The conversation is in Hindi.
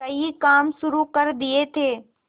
कई काम शुरू कर दिए थे